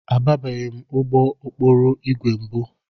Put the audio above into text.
Abanyebeghị m n'ụgbọ okporo ígwè mbụ.